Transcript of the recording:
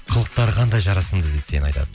қылықтары қандай жарасымды дейді сені айтады